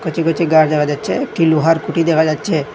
কচি কচি গাছ দেখা যাচ্ছে একটি লোহার কুটি দেখা যাচ্ছে।